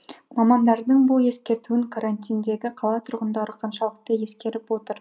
мамандардың бұл ескертуін карантиндегі қала тұрғындары қаншалықты ескеріп отыр